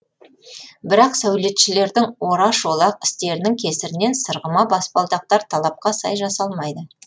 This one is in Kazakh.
бірақ сәулетшілердің ораш олақ істерінің кесірінен сырғыма баспалдақтар талапқа сай жасалмайды